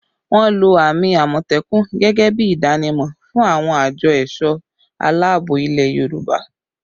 Wọ́n lo àmì àmọ̀tẹ́kùn gẹ́gẹ́ bí ìdánimọ̀ fún àwọn àjọ ẹ̀sọ̀ aláàbò ilẹ̀ Yorùbá